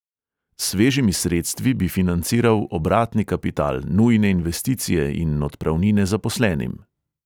S svežimi sredstvi bi financiral obratni kapital, nujne investicije in odpravnine zaposlenim.